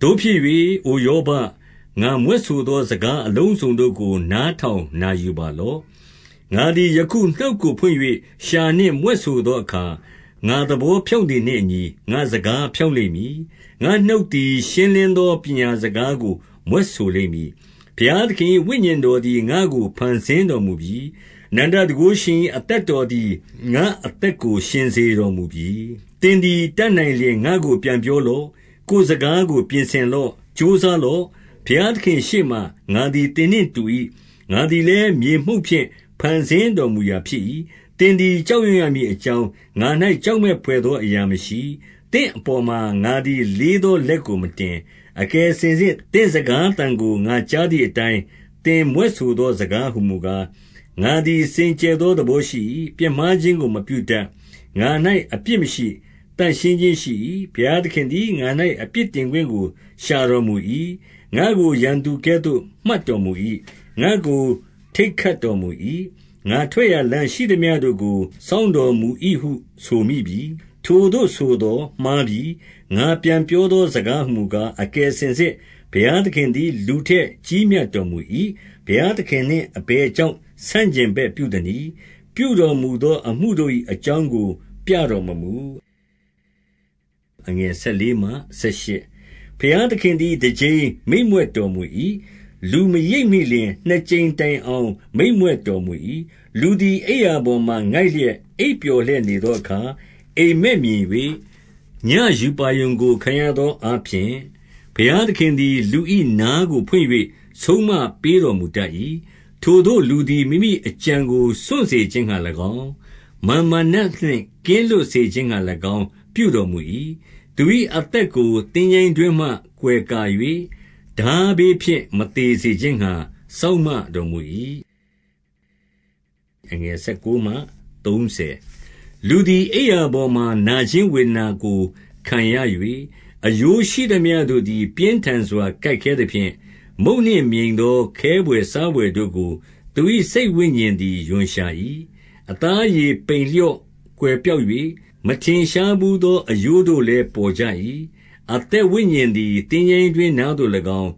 သို့ဖြစ်၍ အိုယောဘ၊ ငါမြွက်ဆိုသောစကား အလုံးစုံတို့ကို နားထောင်နာယူပါလော့။ ငါသည် ယခုနှုတ်ကိုဖွင့်၍ လျှာနှင့်မြွက်ဆိုသော အခါ၊ ငါသဘောဖြောင့်သည်နှင့်အညီ ငါ့စကား ဖြောင့်လိမ့်မည်။ ငါ့နှုတ်သည်ရှင်းလင်းသော ပညာစကား ကို မြွက်ဆိုလိမ့်မည်။ ဘုရားသခင်၏ဝိညာဉ်တော်သည် ငါ့ကို ဖန်ဆင်းတော်မူပြီ။ အနန္တတန်ခိုးရှင်၏ အသက်တော် သည် ငါ့ကို အသက်ရှင်စေတော်မူပြီ။ သင်သည်တတ်နိုင်လျှင် ငါ့ကို ပြန်ပြောလော့။ ကိုယ်စကားကို ပြင်ဆင်လော့။ ကြိုးစားလော့။ ဘုရားသခင့်ရှေ့မှာ ငါသည်သင်နှင့်တူ၏။ ငါသည်လည်း မြေမှုန့်ဖြင့် ဖန်ဆင်းတော်မူရာဖြစ်၏။ သင်သည် ကြောက်ရွံ့ရမည်အကြောင်း ငါ၌ ကြောက်မက်ဘွယ်သော အရာမရှိ။ သင့်အပေါ်မှာ ငါသည် လေးသောလက်ကိုမတင်။ အကယ်စင်စစ်သင့်စကားသံကို ငါကြားသည် အတိုင်း သင်မြွက်ဆိုသောစကားဟူမူကား၊ ငါသည် စင်ကြယ်သောသဘောရှိ၏။ ပြစ်မှား ခြင်းကို မပြုတတ်။ ငါ၌အပြစ်မရှိ။ သန့်ရှင်းခြင်းရှိ၏။ ဘုရားသခင်သည် ငါ၌ အပြစ်တင်ခွင့်ကို ရှာတော်မူ၏။ ငါ့ကို ရန်သူကဲ့သို့ မှတ်တော်မူ၏။ ငါ့ကို ထိတ်ခတ်တော်မူ၏။ ငါထွက်ရာလမ်းရှိ သမျှတို့ကို စောင့်တော်မူ၏ဟု ဆိုမိပြီ။ ထိုသို့ဆိုသော်မှားပြီ။ ငါပြန်ပြောသောစကားဟူ မူကား၊ အကယ်စင်စစ် ဘုရားသခင်သည် လူထက် ကြီးမြတ်တော်မူ၏။ ဘုရားသခင်နှင့်အဘယ်ကြောင့် ဆန့်ကျင်ဘက် ပြုသနည်း။ ပြုတော်မူသော အမှုတို့၏အကြောင်းကို ပြတော်မမူ။ ဘုရားသခင်သည် တကြိမ်မိန့်မြွက်တော်မူ၏။ လူမရိပ်မိလျှင် နှစ်ကြိမ်တိုင်အောင် မိန်မြွက်တော်မူ၏။ လူသည်အိပ်ရာပေါ်မှာငိုက်လျက် အိပ်ပျော် လျက်နေသောအခါ အိပ်မက်မြင်၍၊ ညဉ့်ရူပါရုံကို ခံရသောအားဖြင့်၊ ဘုရားသခင်သည် လူ၏နားကို ဖွင့်၍ ဆုံးမပေး တော်မူတတ်၏။ ထိုသို့လူသည် မိမိအကြံကိုစွန့်စေခြင်းငှါ၎င်း၊ မာန်မာနနှင့် ကင်းလွတ်စေခြင်းငှါ၎င်း ပြုတော်မူ၏။ သူ၏အသက်ကို သင်္ချိုင်းတွင်းမှကွယ်ကာ၍၊ ထားဘေးဖြင့် မသေစေခြင်းငှါ စောင့်မတော်မူ၏။ လူသည် အိပ်ရာပေါ်မှာနာခြင်းဝေဒနာကို ခံရ ၍၊ အရိုးရှိသမျှတို့သည် ပြင်းထန်စွာ ကိုက်ခဲသဖြင့်၊ မုန့်နှင့်မြိန်သော ခဲဘွယ်စားဘွယ်တို့ကို သူ၏ စိတ်ဝိညာဉ်သည် ရွံ့ရှာ၏။ အသားအရေပိန်လျော့ ကွယ်ပျောက်၍၊ မထင် ရှားဘူးသော အရိုးတို့လည်း ပေါ်ကြ၏။ အသက်ဝိညာဉ်သည် သင်္ချိုင်းတွင်းနားသို့၎င်း